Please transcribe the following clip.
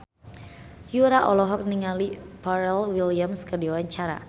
Yura olohok ningali Pharrell Williams keur diwawancara